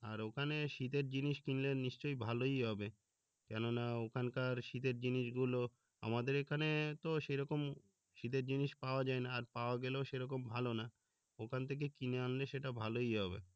আর ওখানে শীতের জিনিস কিনলে নিশ্চয়ই ভালোই হবে কেননা ওখানকার শীতের জিনিস গুলো আমাদের এখানে তো সেরকম শীতের জিনিস পাওয়া যায় না আর পাওয়া গেলেও সেরকম ভালো না ওখান থেকে কিনে আনলে সেটা ভালোই হবে